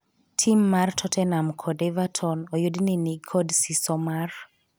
timmar totenam kod everton oyud ni nikod siso mar